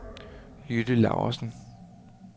Jytte Laugesen